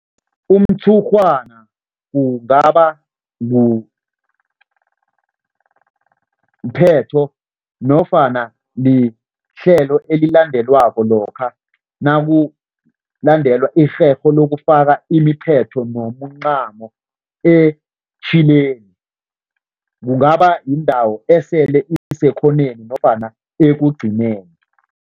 Umtshurhwana kungaba mthetho nofana lihlelo elilandelwako lokha naulandelwa irherho lokufaka imiphetho nomncamo etjhileni. Kungaba yindawo esele isekhoneni nofana ekugcineni.